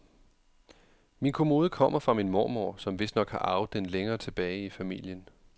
Min kommode kommer fra min mormor, som vistnok har arvet den længere tilbage i familien.